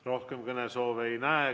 Rohkem kõnesoove ei näe.